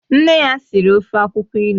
Nne ya siri ofe akwukwo ilu